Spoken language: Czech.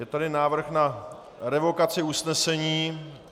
Je tady návrh na revokaci usnesení.